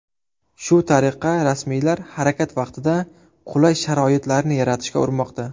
Shu tariqa rasmiylar harakat vaqtida qulay sharoitlarni yaratishga urinmoqda.